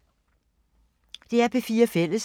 DR P4 Fælles